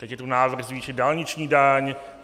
Teď je tu návrh zvýšit dálniční daň.